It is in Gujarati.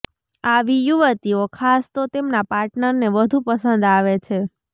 આવી યુવતીઓ ખાસ તો તેમના પાર્ટનરને વધુ પસંદ આવે છે